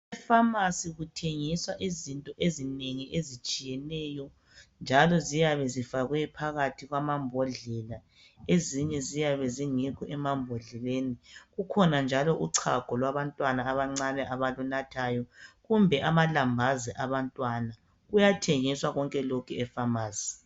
Epharmacy kuthengiswa izinto ezinengi ezitshiyeneyo njalo ziyabe zifakwe phakathi kwamambodlela ezinye ziyabe ezingekho emambodleleni. Kukhona njalo uchago lwabantwana abancane abalunathayo kumbe amalambazi abantwana. Kuyathengiswa konke lokhu epharmacy.